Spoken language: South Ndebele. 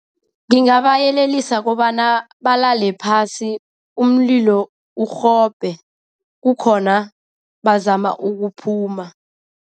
Ngingabayelelisa kobana balale phasi umlilo urhobhe, kukhona bazama ukuphuma.